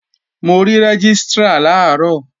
Mo rí Rẹ́gístrà làárọ̀